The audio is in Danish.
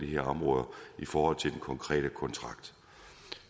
her områder i forhold til den konkrete kontrakt